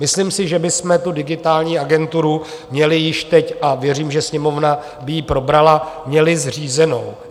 Myslím si, že bychom tu digitální agenturu měli již teď a věřím, že Sněmovna by ji probrala, měli zřízenou.